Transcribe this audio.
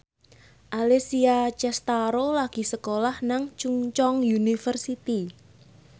Alessia Cestaro lagi sekolah nang Chungceong University